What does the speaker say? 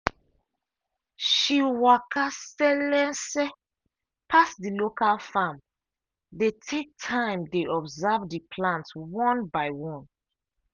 she walka selese pass the local farm dey take time dey observe the plant one by one